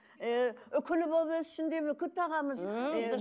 ы үкілі болып өссін деп үкі тағамыз